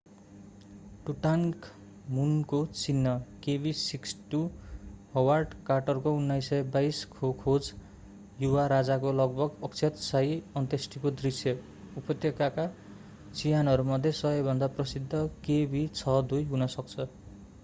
टुटान्खामुनको चिहान kv62। Howard कार्टरको 1922 खो खोज युवा राजाको लगभग अक्षत शाही अन्त्येष्टिको दृष्य उपत्यकाका चिहानहरूमध्ये सबैभन्दा प्रसिद्ध kv62 हुन सक्छ।